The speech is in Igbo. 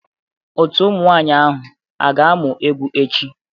Otu ụmụ nwanyị ahụ a ga-amụ egwu echi?